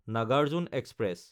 Nagarjuna express